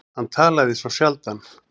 Hann talaði svo sjaldan.